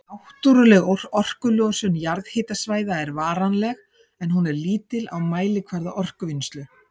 Náttúrleg orkulosun jarðhitasvæða er varanleg, en hún er lítil á mælikvarða orkuvinnslu.